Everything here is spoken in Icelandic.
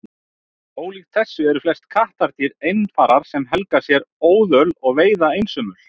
Ólíkt þessu eru flest kattardýr einfarar sem helga sér óðöl og veiða einsömul.